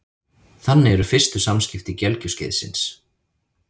Þannig eru fyrstu samskipti gelgjuskeiðsins.